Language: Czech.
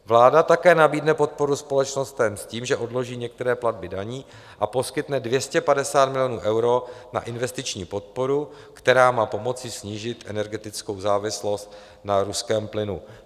Vláda také nabídne podporu společnostem s tím, že odloží některé platby daní a poskytne 250 milionů eur na investiční podporu, která má pomoci snížit energetickou závislost na ruském plynu.